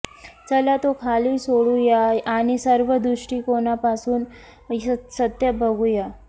चला तो खाली सोडूया आणि सर्व दृष्टीकोनांपासून सत्य बघूया